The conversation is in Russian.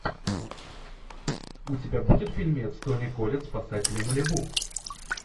у тебя будет фильмец тони коллетт спасатели малибу